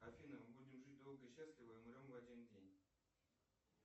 афина мы будем жить долго и счастливо и умрем в один день